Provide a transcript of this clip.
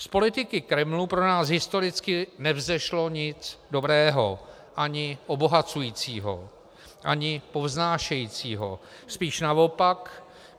Z politiky Kremlu pro nás historicky nevzešlo nic dobrého ani obohacujícího, ani povznášejícího, spíš naopak.